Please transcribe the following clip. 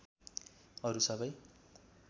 अरु सबै